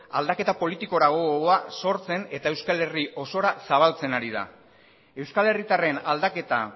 aldaketa politikora gogoa sortzen eta euskal herri osora zabaltzen ari da euskal herritarren aldaketa